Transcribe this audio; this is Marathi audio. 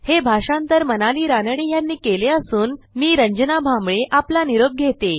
हे भाषांतर मनाली रानडे यांनी केले असून मी रंजना भांबळे आपला निरोप घेते